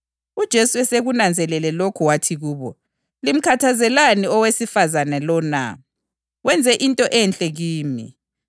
UJesu esekunanzelele lokhu wathi kubo, “Limkhathazelani owesifazane lo na? Wenze into enhle kimi.